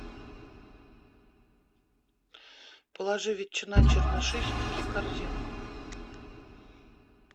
положи ветчина чернышихинский в корзину